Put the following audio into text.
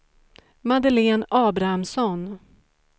Madeleine Abrahamsson